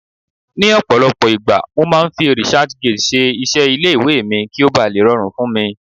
ní ọpọlọpọ igba, mo ma fi researchgate ṣe iṣẹ ile iwe mi ki o ba le rọrùn fún mi